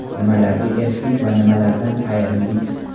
Nimalarga erishdik va nimalardan ayrildik?